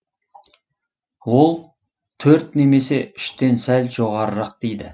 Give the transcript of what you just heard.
ол төрт немесе үштен сәл жоғарырақ дейді